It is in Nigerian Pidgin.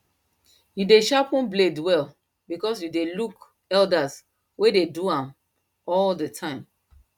you dey sharpen blade well because you dey look elders wen dey do am all the time